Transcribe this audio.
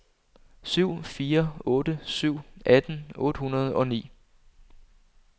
syv fire otte syv atten otte hundrede og ni